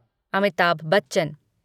Amitabh Bachchan